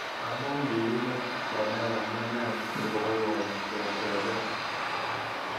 Amu kilimoche Kenai amunee sikoboiboi ketebe